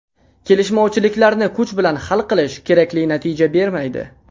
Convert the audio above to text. Kelishmovchiliklarni kuch bilan hal qilish kerakli natija bermaydi.